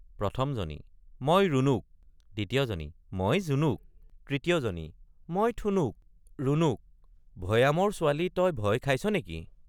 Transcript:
১ম জনী—মই ৰুণুক ২য় জনী—মই জুনুক ৩য় জনী—মই ঠুনুক ৰুণুক—ভয়ামৰ ছোৱালী তই ভয় খাইছনেকি?